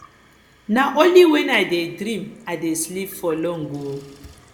na only wen i dey dream i dey sleep for long o